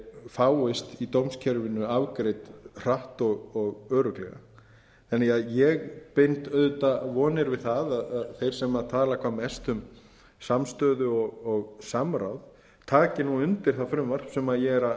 fáist í dómskerfinu afgreidd hratt og örugglega þannig að ég bind auðvitað vonir við það að þeir sem tala sem mest um samstöðu og samráð taki nú undir það frumvarp sem ég er að